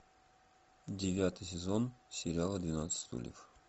девятый сезон сериала двенадцать стульев